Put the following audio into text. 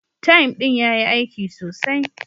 "Thyme" din ya yi aiki sosai